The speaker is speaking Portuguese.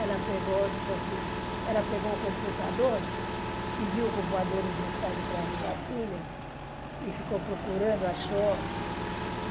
Ela pegou, disse assim, ela pegou o computador, pediu o computador emprestado para a minha filha e ficou procurando, achou.